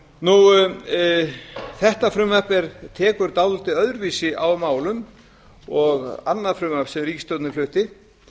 það þetta frumvarp tekur dálítið öðruvísi á málum og annað frumvarp sem ríkisstjórnin flutti